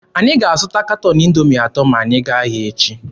Anyị ga-azụta katọn Indoomi atọ ma anyị gaa ahịa echi.